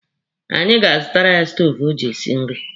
Anyị ga-azụtara ya stoovu o ji esi nri.